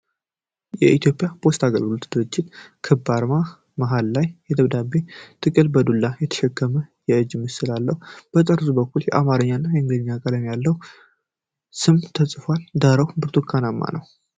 የኢትዮጵያ ፖስታ አገልግሎት ድርጅት ክብ አርማ፣ አርማው መሃል ላይ የደብዳቤ ጥቅል በዱላ የተሸከመች የእጅ ምስል አለው። በጠርዙ በኩል በአማርኛና በእንግሊዝኛ ቀይ ቀለም ያለው ስም ተጽፏል። ዳራው ብርቱካናማ ነው።